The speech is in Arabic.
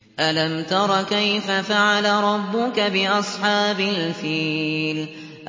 أَلَمْ تَرَ كَيْفَ فَعَلَ رَبُّكَ بِأَصْحَابِ الْفِيلِ